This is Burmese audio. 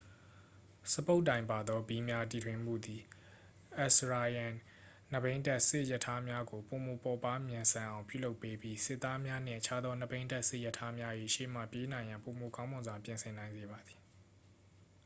စပုတ်တိုင်ပါသောဘီးများတီထွင်မှုသည် assyrian နှစ်ဘီးတပ်စစ်ရထားများကို ပိုမိုပေါ့ပါးမြန်ဆန်အောင် ပြုလုပ်ပေးပြီး စစ်သားများနှင့် အခြားသောနှစ်ဘီးတပ်စစ်ရထားများ၏ရှေ့မှပြေးနိုင်ရန် ပိုမိုကောင်းမွန်စွာ ပြင်ဆင်နိုင်စေပါသည်